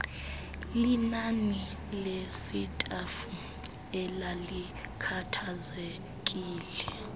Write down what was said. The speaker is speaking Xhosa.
linani lesitafu elalikhathazekile